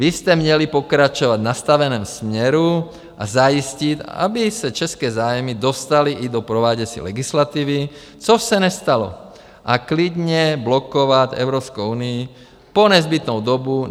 Vy jste měli pokračovat v nastaveném směru a zajistit, aby se české zájmy dostaly i do prováděcí legislativy, což se nestalo, a klidně blokovat Evropskou unii po nezbytnou dobu.